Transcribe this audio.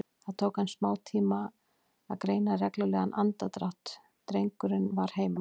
Það tók hann smátíma að greina reglulegan andardrátt, drengurinn var heima.